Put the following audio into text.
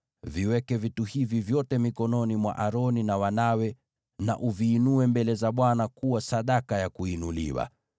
Viweke vitu hivi vyote mikononi mwa Aroni na wanawe na uviinue mbele za Bwana kuwa sadaka ya kuinuliwa.